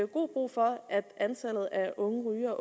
god brug for at antallet af unge